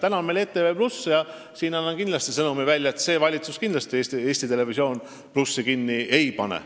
Nüüd on meil ETV+ ja ma annan välja sõnumi, et praegune valitsus seda kindlasti kinni ei pane.